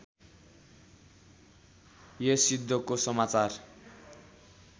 यस युद्धको समाचार